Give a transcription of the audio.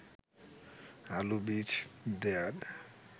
আলু বীজ দেয়ার